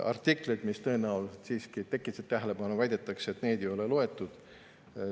Artiklid, mis tõenäoliselt siiski äratasid tähelepanu – väidetakse, et neid ei ole loetud.